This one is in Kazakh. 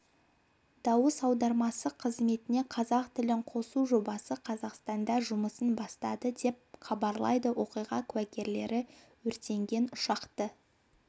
дауыс аудармасы қызметіне қазақ тілін қосу жобасы қазақстанда жұмысын бастады деп хабарлайды оқиға куәгерлері өртенген ұшақты